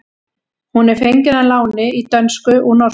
Hún er fengin að láni í dönsku úr norsku.